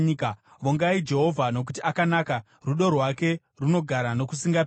Vongai Jehovha nokuti akanaka; rudo rwake runogara nokusingaperi.